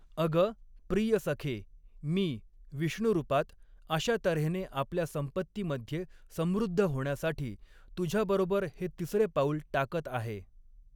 अगं! प्रिय सखे, मी, विष्णू रूपात, अशा तऱ्हेने आपल्या संपत्तीमध्ये समृद्ध होण्यासाठी तुझ्याबरोबर हे तिसरे पाऊल टाकत आहे.